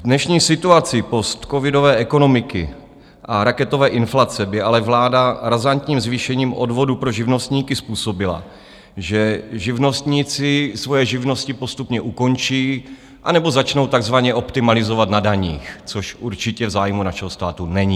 V dnešní situaci postcovidové ekonomiky a raketové inflace by ale vláda razantním zvýšením odvodů pro živnostníky způsobila, že živnostníci svoje živnosti postupně ukončí anebo začnou takzvaně optimalizovat na daních, což určitě v zájmu našeho státu není.